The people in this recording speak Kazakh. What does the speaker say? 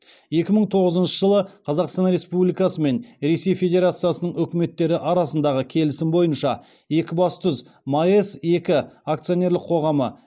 екі мың тоғызыншы жылы қазақстан республикасы мен ресей федерациясының үкіметтері арасындағы келісім бойынша екібастұз маэс екі акционерлік қоғамы